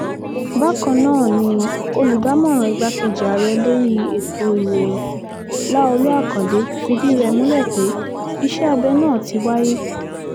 bákan náà ni olùdámọ̀ràn igbákejì ààrẹ lórí ètò ìròyìn láolú àkàndé fìdí rẹ̀ múlẹ̀ pé iṣẹ́ abẹ náà ti wáyé